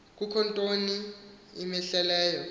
kukho ntoni imhleleyo